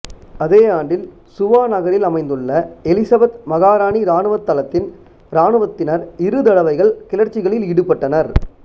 அதே ஆண்டில் சுவா நகரில் அமைந்துள்ள எலிசபெத் மகாராணி இராணுவத் தளத்தின் இராணுவத்தினர் இரு தடவைகள் கிளர்ச்சிகளில் ஈடுபட்டனர்